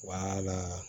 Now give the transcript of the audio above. Wala